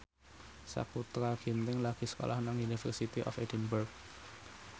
Sakutra Ginting lagi sekolah nang University of Edinburgh